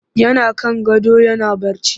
Yana kan gado yana barci